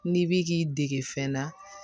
N'i bi k'i dege fɛn na